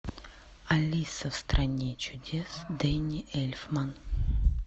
алиса в стране чудес дэнни эльфман